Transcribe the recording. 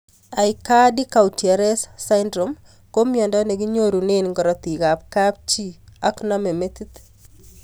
Aicardi Goutieres syndrome ko miondo nekinyorunee karatik ab kapchii ak namei metit